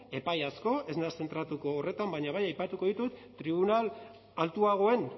epai asko ez naiz zentratuko horretan baina bai aipatuko ditut tribunal altuagoen